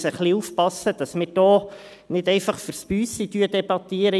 Man muss ein wenig aufpassen, dass wir hier nicht einfach «für ds Büsi» debattieren.